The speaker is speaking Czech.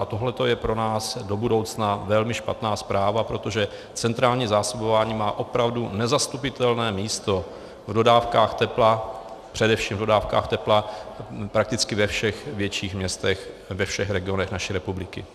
A tohle je pro nás do budoucna velmi špatná zpráva, protože centrální zásobování má opravdu nezastupitelné místo v dodávkách tepla, především v dodávkách tepla, prakticky ve všech větších městech, ve všech regionech naší republiky.